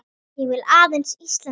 Ég vil aðeins Íslandi vel.